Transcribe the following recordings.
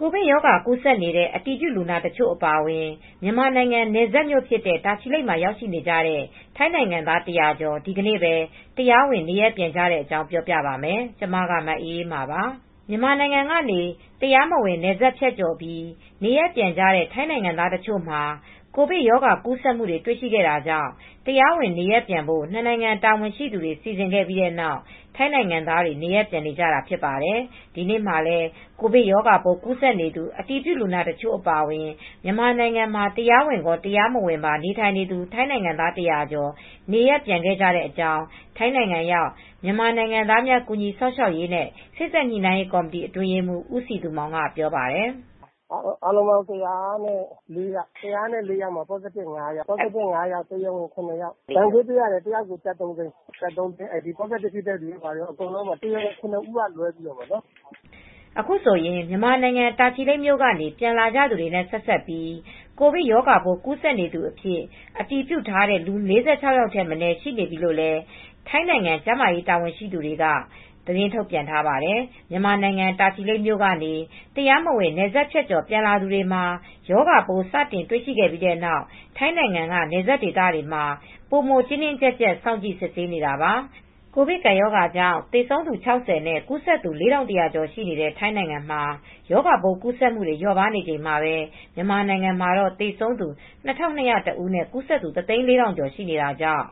ကိုဗစ်ရောဂါ ကူးစက်နေတဲ့ အတည်ပြုလူနာတချို့ အပါအဝင် မြန်မာနိုင်ငံနယ်စပ်မြို့ဖြစ်တဲ့ တာချီလိတ်မှာ ရောက်နေကြတဲ့ ထိုင်းနိုင်ငံသား ၁၀၀ ကျော် ဒီနေ့ပဲ တရားဝင် နေရပ်ပြန်ခဲ့ကြတဲ့အကြောင်းကို ဗွီအိုအေမြန်မာပိုင်း သတင်းထောက် မအေးအေးမာက ပြောပြပါမယ်။ မြန်မာနိုင်ငံကနေ တရားမဝင် နယ်စပ်ဖြတ်ကျော်ပြီး နေရပ်ပြန်ကြတဲ့ ထိုင်းနိုင်ငံသားတချို့မှာ ကိုဗစ်ရောဂါကူးစက်မှုတွေ တွေ့ရှိခဲ့တာကြောင့် တရားဝင်နေရပ်ပြန်ဖို့ ၂ နိုင်ငံ တာဝန်ရှိသူတွေ စီစဉ်ခဲ့ပြီးနောက် ထိုင်းနိုင်ငံသားတွေ နေရပ်ပြန်နေကြတာ ဖြစ်ပါတယ်။ ဒီနေ့မှာလည်း ကိုဗစ်ရောဂါပိုး ကူးစက်နေသူ အတည်ပြုလူနာတချို့ အပါအဝင် မြန်မာနိုင်ငံမှာ တရားဝင်ရော၊ တရားမဝင်ပါ နေထိုင်နေသူ ထိုင်းနိုင်ငံသား ၁၀၀ ကျော် နေရပ်ပြန်ခဲ့ကြတဲ့အကြောင်း ထိုင်းနိုင်ငံရောက် မြန်မာနိုင်ငံသားများ ကူညီစောင့်ရှောက်ရေးနဲ့ စေ့စပ်ညှိနှိုင်းရေးကော်မတီ အတွင်းရေးမှူး ဦးစည်သူမောင်က ပြောပါတယ်။ “အားလုံးပေါင်း ၁၀၄ ယောက်၊ ၁၀၄ ယောက်မှာ positive ဖြစ်တာ ၅ ယောက်ပါတယ်။ တရားဝင်အထောက်အထားရှိတာ ၇ ဦးပါတယ်။ ဒဏ်ကြေးအားလုံး တယောက်ကို ၃၀၀,၀၀၀ ပေးရပါတယ်။ တရားဝင် ၇ ဦးက လွဲပြီးတော့ပေါ့နော်။” အခုဆိုရင် မြန်မာနိုင်ငံ တာချီလိတ်မြို့ကနေ ပြန်လာကြသူတွေနဲ့ ဆက်စပ်ပြီး ကိုဗစ်ရောဂါပိုး ကူးစက်နေသူအဖြစ် အတည်ပြုထားတဲ့သူ ၄၆ ယောက်ထက်မနည်း ရှိနေပြီလို့လည်း ထိုင်းနိုင်ငံ ကျန်းမာရေး တာဝန်ရှိသူတွေက သတင်းထုတ်ပြန်ထားပါတယ်။ မြန်မာနိုင်ငံတာချီလိတ်မြို့ကနေ တရားမဝင် နယ်စပ်ဖြတ်ကျော် ပြန်လာသူတွေမှာ ရောဂါပိုးစတင်တွေ့ရှိခဲ့ပြီးနောက် ထိုင်းနိုင်ငံက နယ်စပ်ဒေသတွေမှာ ပိုမို တင်းတင်းကြပ်ကြပ် စောင့်ကြည့် စစ်ဆေးနေတာပါ။ ကိုဗစ်ကပ်ရောဂါကြောင့် သေဆုံးသူ ၆၀ နဲ့ ကူးစက်သူ ၄,၁၀၀ ကျော် ရှိတဲ့ ထိုင်းနိုင်ငံမှာ ရောဂါပိုးကူးစက်မှုတွေ လျော့ပါးနေချိန်မှာပဲ မြန်မာနိုင်ငံမှာတော့ သေဆုံးသူ ၂,၂၀၁ ကျော်နဲ့ ကူးစက်သူ ၁၀၄,၀၀၀ ကျော် ရှိနေတာကြောင့်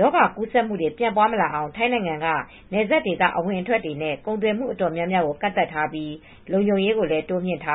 ရောဂါကူးစက်မှုတွေ ပြန့်ပွားမလာအောင် ထိုင်းနိုင်ငံက နယ်စပ်ဒေသ အဝင်အထွက်တွေနဲ့ ကုန်သွယ်မှုတွေ တော်တော်များများကိုလည်း ကန့်သတ်ထားပြီး လုံခြုံရေးကိုလည်း တိုးမြှင့်ထား